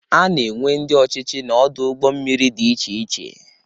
Ana enwe ndị ọchịchị n'ọdụ ụgbọ mmiri dị iche iche.